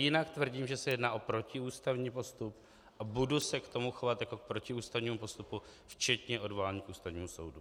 Jinak tvrdím, že se jedná o protiústavní postup, a budu se k tomu chovat jako k protiústavnímu postupu, včetně odvolání k Ústavnímu soudu.